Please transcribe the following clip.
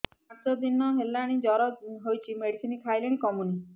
ପାଞ୍ଚ ଦିନ ହେଲାଣି ଜର ହଉଚି ମେଡିସିନ ଖାଇଲିଣି କମୁନି